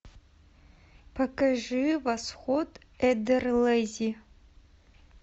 покажи восход эдерлези